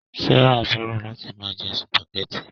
Sárà fẹ́ràn láti máa jẹ sùpàgẹ́tì